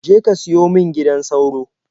Je ka siyo min gidan sauro.